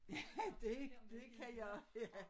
Ja dét det kan jeg ja